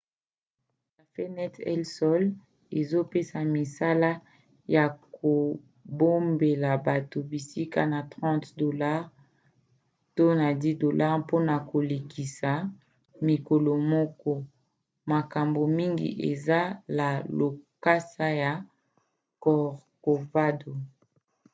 cafenet el sol ezopesa misala ya kobombela bato bisika na 30$ to na 10$ mpona kolekisa mokolo moko; makambo mingi eza la lokasa ya corcovado